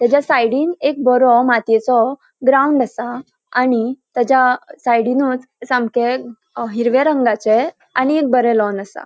त्याज्या सायडीन एक बरो मातीयोचो ग्राउन्ड असा. आणि त्याज्या सायडीनुच सामके अ हिरव्या रंगाचे आनी एक बरे लॉन असा.